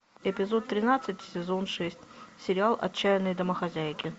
эпизод тринадцать сезон шесть сериал отчаянные домохозяйки